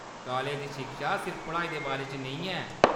College दी शिक्षा सिर्फ पढ़ाई दे बारे च नेईं ऐ।